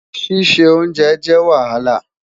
Sise onjè jẹ Wahala